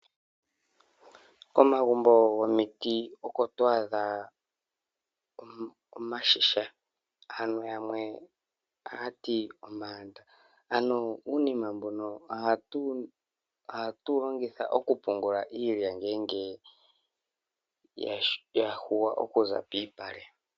Komagumbo gomiiti oko to adha iigadhi. Yimwe ohaa ti ano unene uniima mbono ohatu wu longitha oku pungula iilya ngele ya yungulwa okuza piipale.